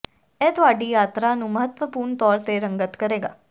ਇਹ ਤੁਹਾਡੀ ਯਾਤਰਾ ਨੂੰ ਮਹੱਤਵਪੂਰਣ ਤੌਰ ਤੇ ਰੰਗਤ ਕਰੇਗਾ